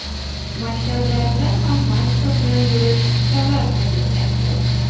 Maktablarda ham maska bilan yurish talab qilinyapti.